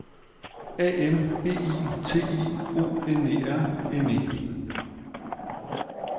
A M B I T I O N E R N E